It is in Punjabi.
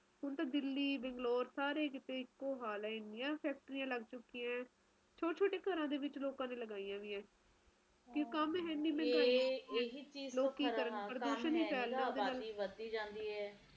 ਹੁਣ ਤੇ ਦਿੱਲੀ ਤੇ ਬੰਗਲੌਰ ਸਾਰੇ ਕੀਤੇ ਇੱਕੋ ਹੀ ਹਾਲ ਹੈ ਹੁਣ ਤਾ ਸਾਰੇ ਕੀਤੇ ਫੈਕਟਰੀਆਂ ਲੱਗ ਚੁੱਕਿਆ ਨੇ ਛੋਟੇ ਛੋਟੇ ਘਰਾਂ ਵਿਚ ਲੋਕਾਂ ਦੀਆ ਲਗਾਇਆ ਹੋਇਆ ਤੇ ਕਾਮ ਹੈ ਨੀ ਕਰਨ ਨੂੰ ਲੋਕੀ ਵੀ ਕਿ ਕਰਨ ਪ੍ਰਦੂਸ਼ਣ ਵਧਦਾ ਜਾ ਰਿਹਾ ਹੈ